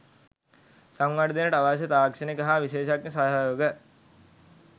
සංවර්ධනයට අවශ්‍ය තාක්ෂණික හා විශේෂඥ සහයෝග